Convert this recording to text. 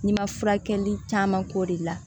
N'i ma furakɛli caman k'o de la